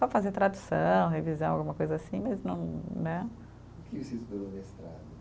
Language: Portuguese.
Só fazer tradução, revisão, alguma coisa assim, mas não, né. O que você estudou no mestrado?